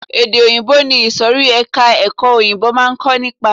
Èdè òyìnbó ni ìsòrí ẹka ẹ̀kọ́ òyìnbó máa ń kó nípa.